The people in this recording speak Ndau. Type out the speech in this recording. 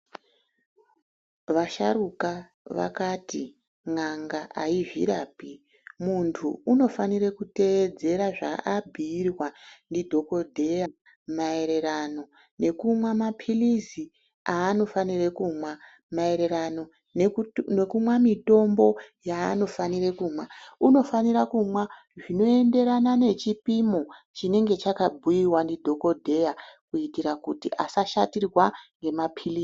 Vasharuka vakati n'anga haizvirapi muntu unofanire kuteedzera zvaabhuyirwa ndi dhokodheya maererano nekumwa mapiliz anofanire kumwa ,maererano nekumwa mitombo yaanofanire kumwa unofanire kumwa zvinoenderana nechipimo chinonga chaka bhuyiwa nadhokodheya kuitire kuti asashatirwa ngemapilizi.